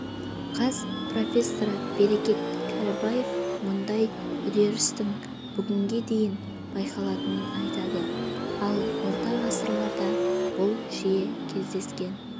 қаз профессоры берекет кәрібаев мұндай үдерістің бүгінге дейін байқалатынын айтады ал орта ғасырларда бұл жиі кездескен